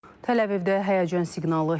Təl-Əvivdə həyəcan siqnalı çalınıb.